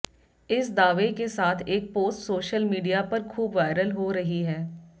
इस दावे के साथ एक पोस्ट सोशल मीडिया पर ख़ूब वायरल हो रही है